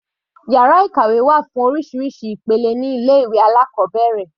Yàrá ìkàwé wà fún oríṣiríṣi ìpele ní ilé ìwé alákọ̀ọ́bẹ̀rẹ̀.